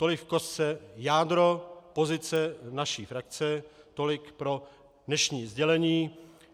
Tolik v kostce jádro pozice naší frakce, tolik pro dnešní sdělení.